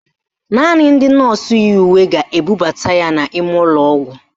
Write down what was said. Naanị ndị nọọsụ yi uwe ga-ebubata ya n'ime ụlọọgwụ